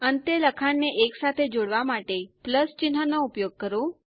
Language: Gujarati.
અંતે લખાણને એકસાથે જોડવા માટે ચિહ્ન નો ઉપયોગ કરો